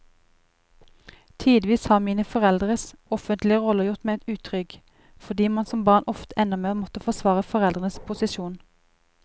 Tidvis har mine foreldres offentlige roller gjort meg utrygg, fordi man som barn ofte ender med å måtte forsvare foreldrenes posisjon.